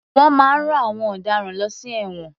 Wọ́n máa ń rán àwọn ọ̀daràn lọ sí ẹ̀wọ̀n.